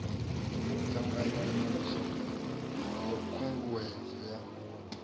ṱanganya nyaluso ya khunguwedzo ya